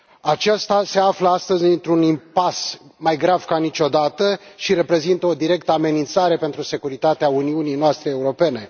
Acesta se află astăzi într un impas mai grav ca niciodată și reprezintă o directă amenințare pentru securitatea Uniunii noastre Europene.